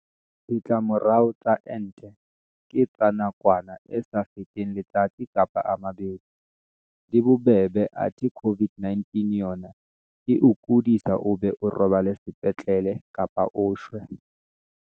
Ditlamorao tsa ente ke tsa nakwana e sa feteng letsatsi kapa a mabedi, di bobebe athe COVID-19 yona e o kodisa o be o robale sepetlele kapa o shwe.